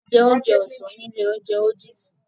A jẹ oúnjẹ ọ̀sán ní ilé-oúnjẹ ójiisì.